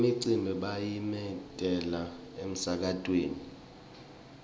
imicimbi bayimemetela emsakatweni